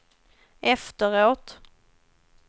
efteråt